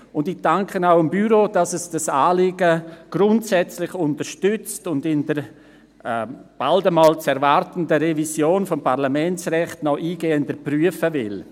Und ich danke auch dem Büro, dass es dieses Anliegen grundsätzlich unterstützt und es in der bald einmal zu erwartenden Revision des Parlamentsrechts noch eingehender prüfen will.